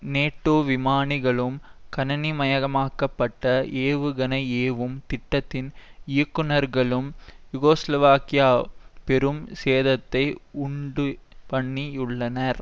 நேட்டோவிமானிகளும் கணனி மயமாக்க பட்ட ஏவுகணைஏவும் திட்டத்தின் இயக்குனர்களும் யூகோசலவாக்கியாவுக்கு பெரும் சேதத்தை உண்டுபண்ணியுள்ளனர்